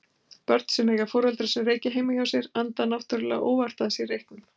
Börn sem eiga foreldra sem reykja heima hjá sér anda náttúrulega óvart að sér reyknum.